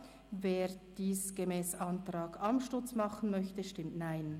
wer dies gemäss Antrag Amstutz möchte, stimmt Nein.